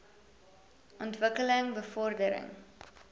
ontwik keling bevordering